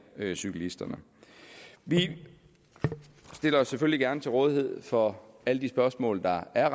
cyklisterne vi stiller os selvfølgelig gerne til rådighed for alle de spørgsmål der er